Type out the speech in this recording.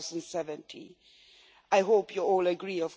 2017. I hope you all agree.